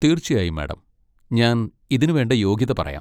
തീർച്ചയായും, മാഡം! ഞാൻ ഇതിനുവേണ്ട യോഗ്യത പറയാം.